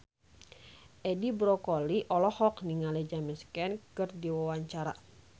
Edi Brokoli olohok ningali James Caan keur diwawancara